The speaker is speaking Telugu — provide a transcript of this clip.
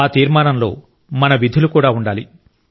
ఆ తీర్మానంలో మన విధులు కూడా ఉండాలి